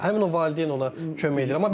Həmin o valideyn ona kömək edir.